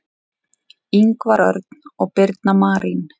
Ingvar Örn og Birna Marín.